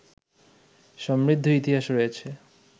সমৃদ্ধ ইতিহাস রয়েছে